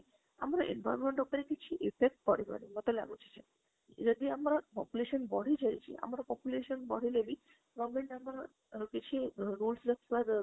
ଆମର environment ଉପରେ କିଛି effect ପଡିବାଣୀ ମତେ ଲଗୁଛି ସେଇୟା ଯଦି ଆମର population ବଢି ଯାଇଛି ଆମ population ବଢିଲେବି government ଆମର ଅ କିଛି rules ଅ